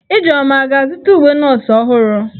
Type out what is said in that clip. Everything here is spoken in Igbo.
Ijeoma a ga-azụta uwe nọọsụ ọhụrụ?